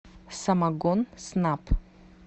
самогонснаб